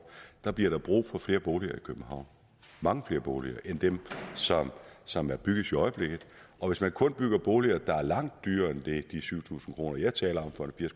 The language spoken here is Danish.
bliver der brug for flere boliger i københavn mange flere boliger end dem som bygges i øjeblikket og hvis man kun bygger boliger der er langt dyrere end de syv tusind kr jeg taler